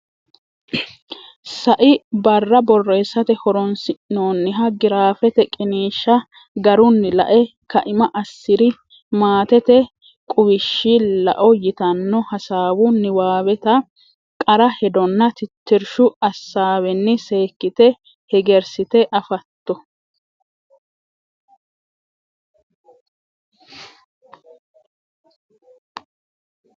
Sai barra borreessate horonsi’noonniha giraafete qiniishsha garunni la’e kaima assi’ri Maatete Quwishshi Lao yitanno, hasaawu niwaaweta qara hedonna tittirshu assaawenni seekkite hegersite afato?